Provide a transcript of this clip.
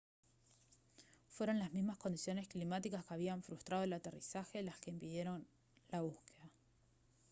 fueron las mismas condiciones climáticas que habían frustrado el aterrizaje las que impidieron la búsqueda